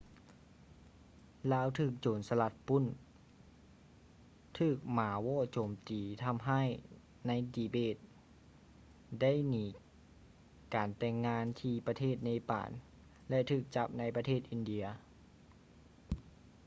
ລາວຖືກໂຈນສະລັດປຸ້ນ ຖືກໝາວໍ້ໂຈມຕີທຳຮ້າຍໃນ ຕີເບດ ໄດ້ໜີການແຕ່ງງານທີ່ ປະເທດເນປານ ແລະ ຖືກຈັບໃນປະເທດ ອິນເດຍ